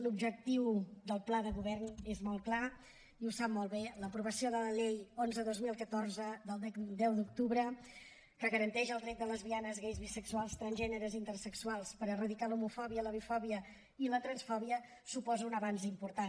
l’objectiu del pla de govern és molt clar i ho sap molt bé l’aprovació de la llei onze dos mil catorze del deu d’octubre que garanteix els drets de lesbianes gais bisexuals transgènere i intersexuals per erradicar l’homofòbia la bifòbia i la transfòbia suposa un avenç important